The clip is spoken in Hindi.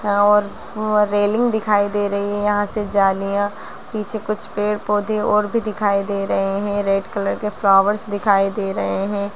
यहाँ और व रेलिंग दिखाई दे रही है यहां से जालियाँ पीछे कुछ पेड़-पौधे और भी दिखाई दे रहें हैं रेड कलर के फ्लावर्स दिखाई दे रहें हैं।